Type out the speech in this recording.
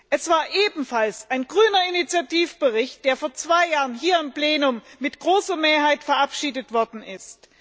Es war ebenfalls ein grüner Initiativbericht, der vor zwei Jahren hier im Plenum mit großer Mehrheit verabschiedet worden ist.